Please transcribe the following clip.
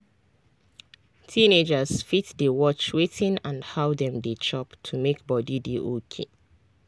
teenagers fit dey watch wetin and how dem dey chop to make body dey okay.